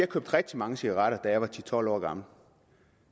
købte rigtig mange cigaretter da jeg var ti til tolv år gammel